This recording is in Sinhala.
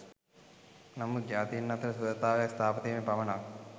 නමුත් ජාතීන් අතර සුහදතාවක් ස්ථාපිත වීමෙන් පමණක්